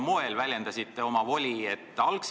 Te väljendasite oma voli tegelikult kahel eri moel.